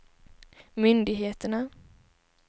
myndigheterna